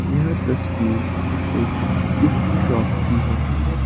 यह तस्वीर एक गिफ्ट शॉप की है।